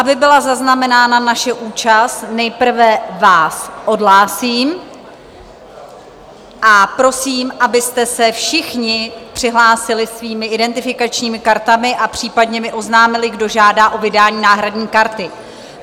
Aby byla zaznamenána naše účast, nejprve vás odhlásím a prosím, abyste se všichni přihlásili svými identifikačními kartami a případně mi oznámili, kdo žádá o vydání náhradní karty.